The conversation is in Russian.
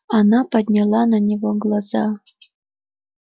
она подняла на него глаза